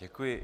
Děkuji.